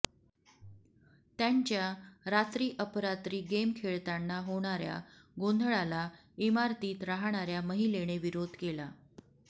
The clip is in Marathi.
त्यांच्या रात्री अपरात्री गेम खेळताना होणाऱ्या गोंधळाला इमारतीत राहणाऱ्या महिलेने विरोध केला